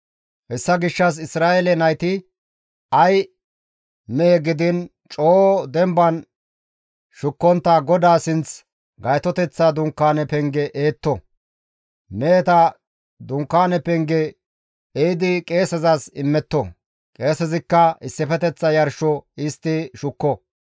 Hessa gishshas Isra7eele nayti ay mehe gidiin coo demban shukkontta GODAA sinth Gaytoteththa Dunkaane penge ehetto; meheta Dunkaane penge ehidi qeesezas immetto; qeesezikka issifeteththa yarsho histti shukko.